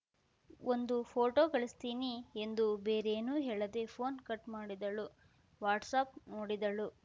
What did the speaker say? ಒಂದು ಪೋಟೋ ಕಳ್ಸಿದೀನಿ ಎಂದು ಬೇರೇನೂ ಹೇಳದೇ ಪೋನ್‌ ಕಟ್‌ ಮಾಡಿದಳು ವಾಟ್ಸ್‌ ಆ್ಯಪ್‌ ನೋಡಿದಳು